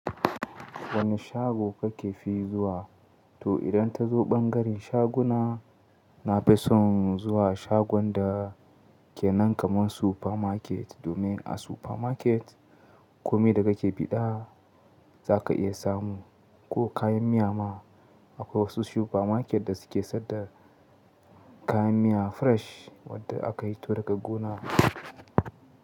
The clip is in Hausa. Wane shago kake fi zuwa? To idan ta zo ɓangaren shaguna, na fi son zuwa shagon da ke nan kaman supermarket. Domin a supermarket komai da kake bi da zaka iya samu ko kayan miya ma. Akwai wasu supermarket da suke sayar da kayan miya fresh wadda aka fito daga gona.